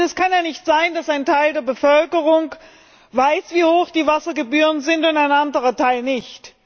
Denn es kann ja nicht sein, dass ein Teil der Bevölkerung weiß, wie hoch die Wassergebühren sind, und ein anderer Teil nicht.